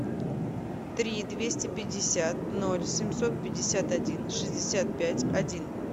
три двести пятьдесят ноль семьсот пятьдесят один шестьдесят пять один